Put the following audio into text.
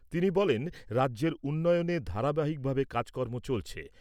তিনি বলেন, রাজ্যের উন্নয়নে ধারাবাহিক ভাবে কাজকর্ম চলছে।